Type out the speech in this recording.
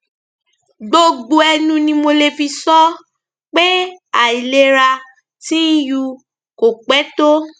gbogbo ẹnu ni mo lè fi sọ ọ pé àìlera tìnyu kò pẹ tó